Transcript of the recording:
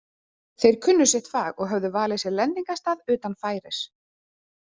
Þeir kunnu sitt fag og höfðu valið sér lendingarstað utan færis.